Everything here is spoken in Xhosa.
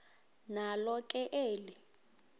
nalo ke eli